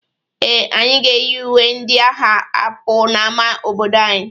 Ee, anyị ga-eyi uwe ndị a agha apụ n'ama obodo anyị.